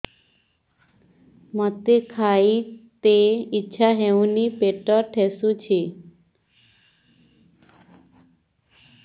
ମୋତେ ଖାଇତେ ଇଚ୍ଛା ହଉନି ପେଟ ଠେସୁଛି